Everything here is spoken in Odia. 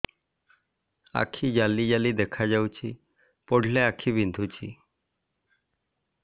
ଆଖି ଜାଲି ଜାଲି ଦେଖାଯାଉଛି ପଢିଲେ ଆଖି ବିନ୍ଧୁଛି